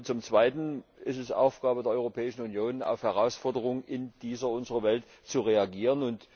Zum Zweiten ist es Aufgabe der Europäischen Union, auf Herausforderungen in dieser unserer Welt zu reagieren.